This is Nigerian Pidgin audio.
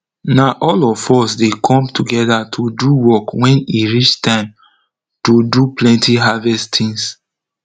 na all of us dey come togeda to do work wen e reach time to do plenty harvest tins